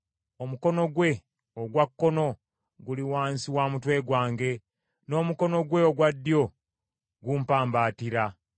Omukono gwe ogwa kkono guli wansi wa mutwe gwange n’omukono gwe ogwa ddyo gumpambaatira.